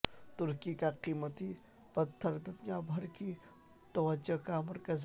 ترکی کا قیمتی پتھر دنیا بھر کی توجہ کا مرکز